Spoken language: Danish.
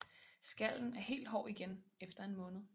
Skallen er helt hård igen efter en måned